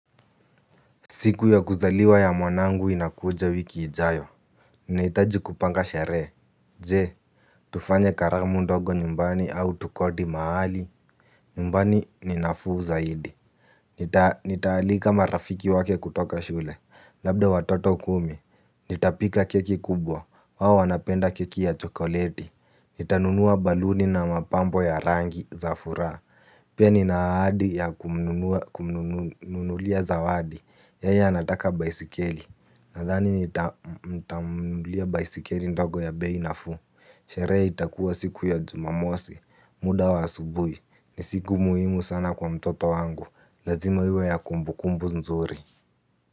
Siku ya kuzaliwa ya mwanangu inakuja wiki ijayo. Naitaji kupanga sherehr. Jee, tufanye karamu ndogo nyumbani au tukodi mahali. Nyumbani ni nafuu zaidi. Nitaalika marafiki wake kutoka shule. Labda watoto kumi. Nitapika keki kubwa. Wao wanapenda keki ya chokoleti. Nitanunua baluni na mapambo ya rangi za furaha. Pia ninaadi ya kumnunulia za wadi. Yeye anataka baisikeli. Nathani nitamulia baisikeli ndogo ya beinafuu. Sheree itakuwa siku ya jumamosi. Muda wa asubui nisiku muhimu sana kwa mtoto wangu. Lazima iwe ya kumbu kumbu nzuri.